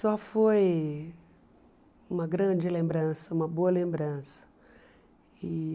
Só foi uma grande lembrança, uma boa lembrança. E